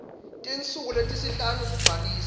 tinsuku letisihlanu kubhalisa